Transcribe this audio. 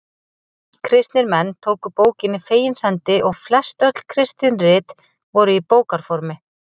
Kristnir menn tóku bókinni fegins hendi og flest öll kristin rit voru í bókarformi.